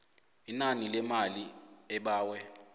inani lemali obawe